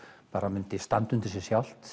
myndi standa undir sér sjálft